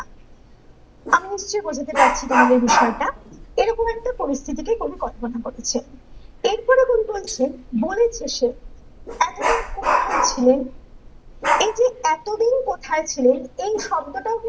কি বোঝাতে পারছি তোমাদের বিষয়টা এরকম একটা পরিস্থিতিকেকবি কল্পনা করেছে এর পরে কবি বলেছে গরিব দেশে এতদিন কোথায় ছিলে, এইযে এতদিন কোথায় ছিলে এই শব্দটাও